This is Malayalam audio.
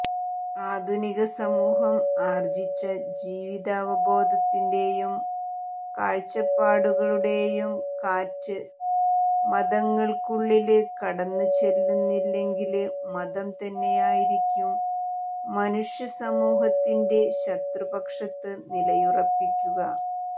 ആധുനിക സമൂഹം ആര്ജിച്ച ജീവിതാവബോധത്തിന്റെയും കാഴ്ചപ്പാടുകളുടെയും കാറ്റ് മതങ്ങള്ക്കുള്ളില് കടന്നുചെല്ലുന്നില്ലെങ്കില് മതം തന്നെയായിരിക്കും മനുഷ്യസമൂഹത്തിന്റെ ശത്രുപക്ഷത്ത് നിലയുറപ്പിക്കുക